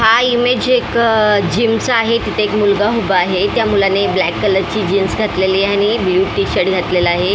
हा इमेज एक जिम चा आहे तिथे एक मुलगा उभा आहे त्या मुलाने ब्लॅक कलर ची जीन्स घातलेली आहे आणि ब्ल्यू टी शर्ट घातलेला आहे.